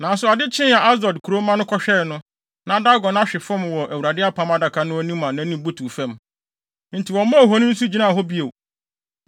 Nanso ade kyee a Asdod kurowmma no kɔhwɛe no, na Dagon ahwe fam wɔ Awurade Apam Adaka no anim a nʼanim butuw fam. Enti wɔmaa ohoni no so gyinaa hɔ bio.